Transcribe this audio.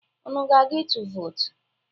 Unu na-aga ịtụ vootu?